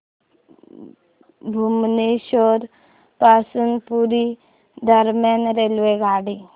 भुवनेश्वर पासून पुरी दरम्यान रेल्वेगाडी